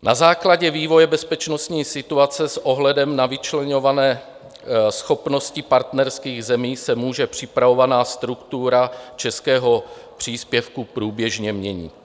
Na základě vývoje bezpečnostní situace s ohledem na vyčleňované schopnosti partnerských zemí se může připravovaná struktura českého příspěvku průběžně měnit.